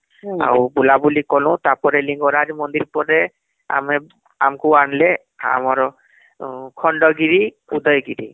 ଆଉ ବୁଲା ବୁଲି କଲୁ ତାପରେ ଲିଙ୍ଗରାଜ ମନ୍ଦିର ପରେ ଆମେ ଆମକୁ ଆଣିଲେ ଆମର ଖଣ୍ଡଗିରି , ଉଦୟଗିରି